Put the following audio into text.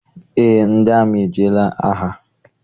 Eé, ndị amị ejeela agha.